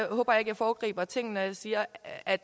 håber ikke jeg foregriber ting når jeg siger at